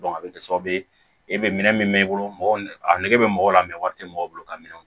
a bɛ kɛ sababu ye e bɛ minɛn min mɛn i bolo mɔgɔ a nege bɛ mɔgɔ la mɛ wari tɛ mɔgɔ bolo ka minɛnw